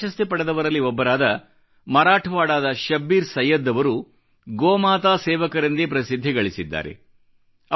ಪದ್ಮ ಪ್ರಶಸ್ತಿ ಪಡೆದವರಲ್ಲಿ ಒಬ್ಬರಾದ ಮರಾಠಾವಾಡಾದ ಶಬ್ಬೀರ್ ಸೈಯ್ಯದ್ ಅವರು ಗೋಮಾತಾ ಸೇವಕರೆಂದೇ ಪ್ರಸಿದ್ಧಿ ಗಳಿಸಿದ್ದಾರೆ